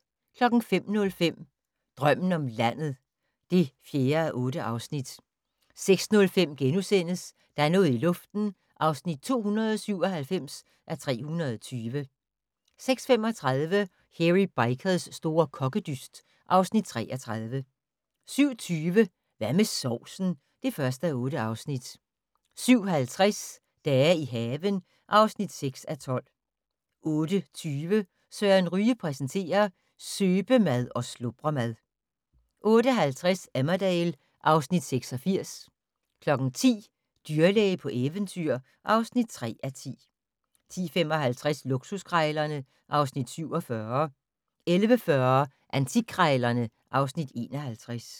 05:05: Drømmen om landet (4:8) 06:05: Der er noget i luften (297:320)* 06:35: Hairy Bikers' store kokkedyst (Afs. 33) 07:20: Hvad med sovsen? (1:8) 07:50: Dage i haven (6:12) 08:20: Søren Ryge præsenterer: Søbemad og slubremad 08:50: Emmerdale (Afs. 86) 10:00: Dyrlæge på eventyr (3:10) 10:55: Luksuskrejlerne (Afs. 47) 11:40: Antikkrejlerne (Afs. 51)